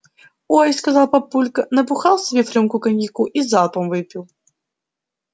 ой сказал папулька набухал себе в рюмку коньяку и залпом выпил